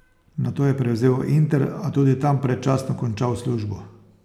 Nato je prevzel Inter, a tudi tam predčasno končal službo.